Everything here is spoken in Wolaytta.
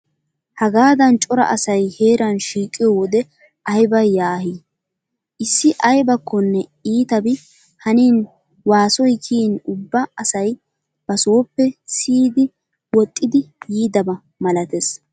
Hagaadan cora asayi heeraa shiiqiyoo wode ayiba yaahii. Issi ayibakkonne iitabi hanin waasoyi kiyin ubba asayi basooppe siyidi woxxiiddi yiidaba malates.